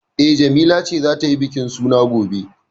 E, Jamila ce za ta yi bikin suna gobe.